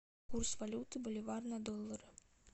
курс валюты боливар на доллар